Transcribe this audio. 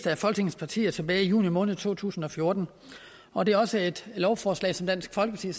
af folketingets partier tilbage i juni måned to tusind og fjorten og det er også et lovforslag som dansk folkeparti